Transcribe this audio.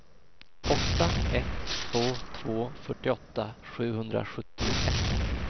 åtta ett två två fyrtioåtta sjuhundrasjuttioett